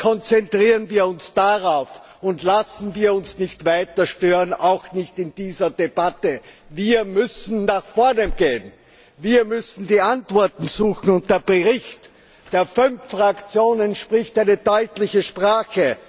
Konzentrieren wir uns darauf und lassen wir uns nicht weiter stören, auch nicht in dieser Debatte. Wir müssen nach vorne gehen W ir müssen die Antworten suchen. Der Bericht der fünf Fraktionen spricht eine deutliche Sprache.